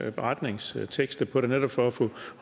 en beretningstekst på det netop for at få